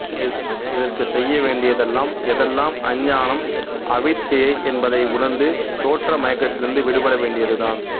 இதற்கு செய்ய வேண்டியதெல்லாம் எதெல்லாம் அஞ்ஞானம் அவித்யயை என்பதை உணர்ந்து தோற்ற மயக்கத்திலிருந்து விடுபட வேண்டியதுதான்